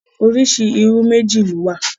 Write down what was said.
Oríṣi irú méjì ló wà.